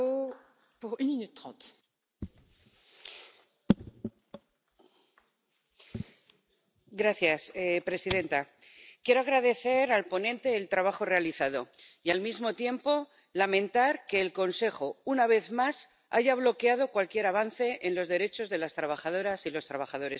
Señora presidenta, quiero agradecer al ponente el trabajo realizado y, al mismo tiempo, lamentar que el Consejo, una vez más, haya bloqueado cualquier avance en los derechos de las trabajadoras y los trabajadores europeos.